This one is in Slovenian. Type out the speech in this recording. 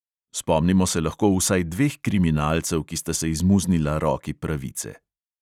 Spomnimo se lahko vsaj dveh kriminalcev, ki sta se izmuznila roki pravice.